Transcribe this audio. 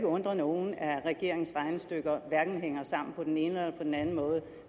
undre nogen at regeringens regnestykker hverken hænger sammen på den ene eller den anden måde